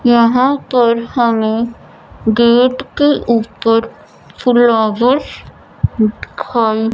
यहां पर हमें गेट के ऊपर फुलावर्स दिखाई--